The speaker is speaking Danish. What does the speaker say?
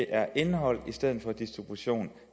er indhold i stedet for distribution